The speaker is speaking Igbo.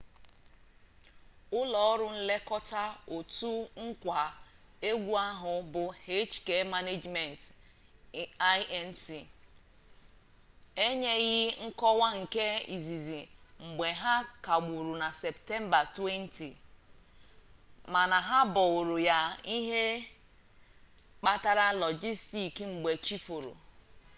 ụlọ ọrụ nlekọta otu nkwa egwu ahụ bụ hk management inc enyeghị nkọwa nke izizi mgbe ha kagburu na septemba 20 mana ha boro ya ihe mkpata lọjistik mgbe chi foro